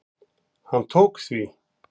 Hann tók því.